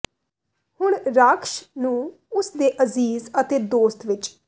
ਹੁਣ ਰਾਖਸ਼ ਨੂੰ ਉਸ ਦੇ ਅਜ਼ੀਜ਼ ਅਤੇ ਦੋਸਤ ਵਿਚ